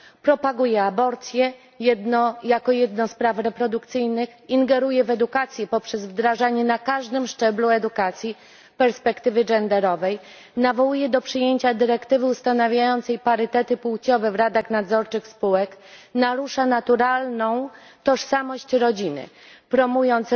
Propaguje aborcję jako jedno z praw reprodukcyjnych, ingeruje w edukację poprzez wdrażanie na każdym szczeblu edukacji perspektywy genderowej, nawołuje do przyjęcia dyrektywy ustanawiającej parytety płciowe w radach nadzorczych spółek, narusza naturalną tożsamość rodziny, promując